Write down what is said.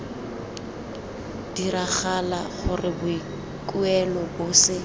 diragala gore boikuelo bo se